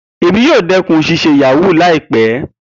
Emi yoo dẹkun ṣiṣe yahoo laipẹ.